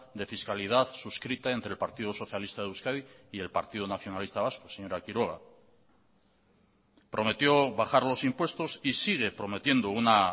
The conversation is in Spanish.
de fiscalidad suscrita entre el partido socialista de euskadi y el partido nacionalista vasco señora quiroga prometió bajar los impuestos y sigue prometiendo una